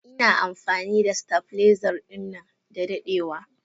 Ina amfani da stabiliser dinnan da dadewa.